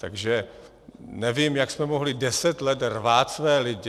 Takže nevím, jak jsme mohli deset let rvát své lidi.